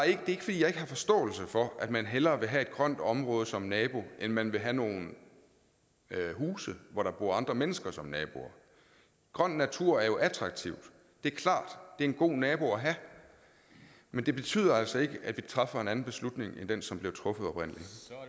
ikke fordi jeg ikke har forståelse for at man hellere vil have et grønt område som nabo end man vil have nogle huse hvor der bor andre mennesker som naboer grøn natur er attraktivt det er klart det er en god nabo at have men det betyder altså ikke at vi træffer en anden beslutning end den som blev truffet oprindelig